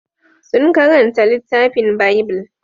Sun karanta littafin Bible.